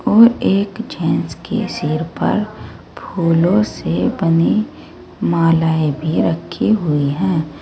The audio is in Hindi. और एक जेंट्स के सिर पर फूलों से बनी मालाएं भी रखी हुई है।